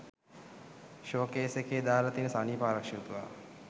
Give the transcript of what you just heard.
show case එකේ දාල තියෙන සනීපාරක්ෂක තුවා